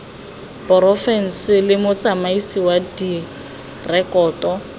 porofense le motsamaisi wa direkoto